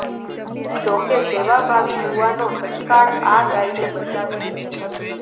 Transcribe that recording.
જો કે સેવાભાવી યુવાનો તત્કાળ આ ગાયને બચાવી લીધી હતી